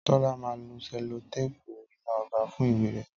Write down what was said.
Tọ́lá máa lo selotéèpù iná ọba fún ìwé rè